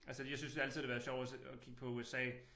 Altså jeg synes altid det har været sjovt at se at kigge på USA